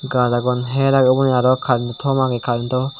gaj agon hyer agey uboni aroh currento thom ageh current oh.